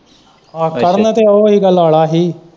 ਆਹੋ ਕਰਨ ਤੇ ਉਹ ਹੀਗਾ ਲਾਲਾ ਹੀ।